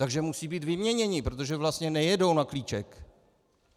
Takže musí být vyměněni, protože vlastně nejedou na klíček.